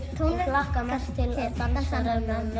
hlakka mest til